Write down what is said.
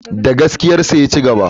Da gaskiyarsa ya cigaba.